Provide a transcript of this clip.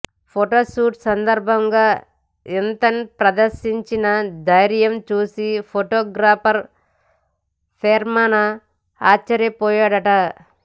photoshoot సందర్భంగా ఇంతన్ ప్రదర్శించిన ధైర్యం చూసి ఫొటోగ్రాఫర్ పెర్మనా ఆశ్చర్యపోయాడట